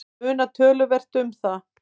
Það munar töluvert um það.